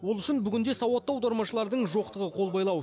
ол үшін бүгінде сауатты аудармашылардың жоқтығы қол байлау